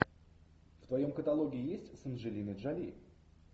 в твоем каталоге есть с анджелиной джоли